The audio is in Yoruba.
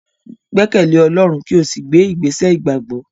Gbẹkẹle Ọlọrun ki o si gbe igbesẹ igbagbọ!